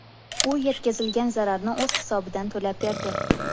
U yetkazilgan zararni o‘z hisobidan to‘lab berdi.